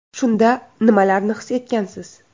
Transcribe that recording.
Shunda nimalarni his etgansiz?